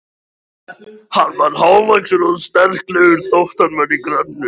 Hann var hávaxinn og sterklegur þótt hann væri grannur.